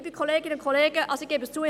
Ich habe kein Auto, ich gebe es zu.